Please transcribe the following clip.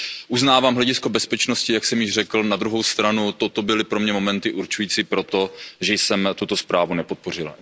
Uznávám hledisko bezpečnosti, jak jsem již řekl, na druhou stranu toto byly pro mě momenty určující pro to, že jsem tuto zprávu nepodpořil.